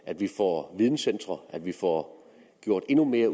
at vi får videncentre at vi får gjort endnu mere